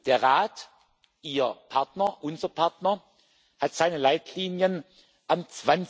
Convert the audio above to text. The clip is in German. Der Rat, Ihr Partner, unser Partner, hat seine Leitlinien am